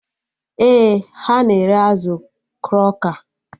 Ee, ha na-ere azụ kroka